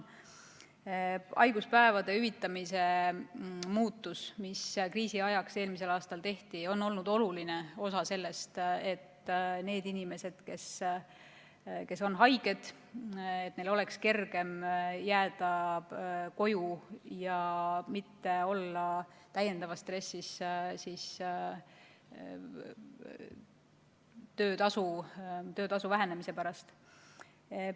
Haiguspäevade hüvitamise muudatusel, mis kriisi ajaks eelmisel aastal tehti, on olnud oluline osa selles, et nendel inimestel, kes on haiged, oleks kergem jääda koju ja mitte olla täiendavas stressis töötasu vähenemise pärast.